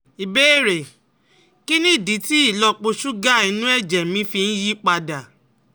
Ìbéèrè: Kí nìdí tí ìlọ́po ṣúgà inú ẹ̀jẹ̀ mi fi ń yí padà?